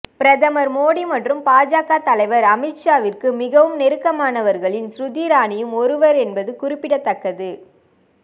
பிரதமர் மோடி மற்றும் பாஜக தலைவர் அமித் ஷாவிற்கு மிகவும் நெருக்கமானவர்களில் ஸ்மிருதி இரானியும் ஒருவர் என்பது குறிப்பிடத்தக்கது